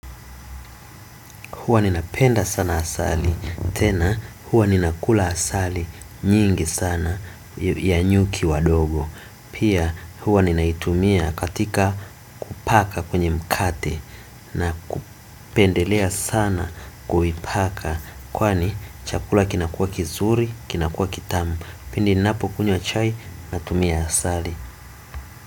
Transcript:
Huwa ninapenda sana asali, tena huwa ninakula asali nyingi sana ya nyuki wadogo. Pia huwa ninaitumia katika kupaka kwenye mkate na kupendelea sana kuipaka. Kwani chakula kinakuwa kizuri, kinakuwa kitamu, pindi ninapo kunywa chai natumia asali.